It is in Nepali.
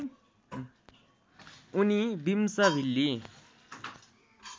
उनी बिम्सभिल्ली